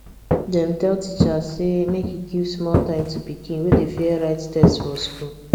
dem tell teacher say make e give small time to pikin wey dey fear write test for school